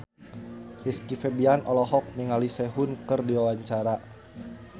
Rizky Febian olohok ningali Sehun keur diwawancara